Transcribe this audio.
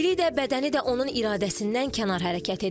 Dili də, bədəni də onun iradəsindən kənar hərəkət edir.